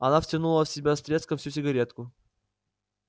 она втянула в себя с треском всю сигаретку